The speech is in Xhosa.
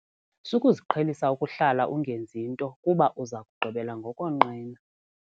Sukuziqhelisa ukuhlala ungenzi nto kuba uza kugqibela ngokonqena.